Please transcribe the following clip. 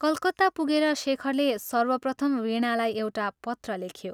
कलकत्ता पुगेर शेखरले सर्वप्रथम वीणालाई एउटा पत्र लेख्यो।